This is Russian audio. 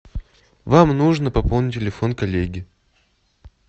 вам нужно пополнить телефон коллеги